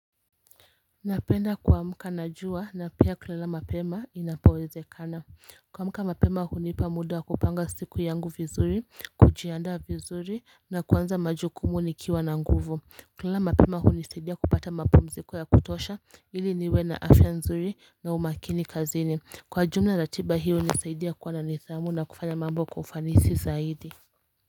Napenda kuamka na jua na pia kulala mapema inapowezekana kuamka mapema hunipa muda kupanga siku yangu vizuri, kujiandaa vizuri na kuanza majukumu nikiwa na nguvu kulala mapema hunisaidia kupata mapumziko ya kutosha ili niwe na afya nzuri na umakini kazini. Kwa jumla ratiba hiyo hunisaidia kuwa na nidhamu na kufanya mambo kwa ufanisi zaidi.